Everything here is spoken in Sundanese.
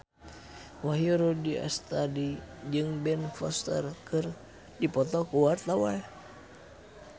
Wahyu Rudi Astadi jeung Ben Foster keur dipoto ku wartawan